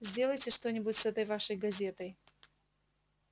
сделайте что-нибудь с этой вашей газетой